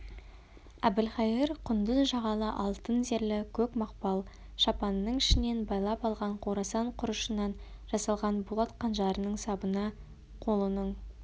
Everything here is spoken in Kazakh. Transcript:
әбілқайыр құндыз жағалы алтын зерлі көк мақпал шапанының ішінен байлап алған қорасан құрышынан жасалған болат қанжарының сабына қолының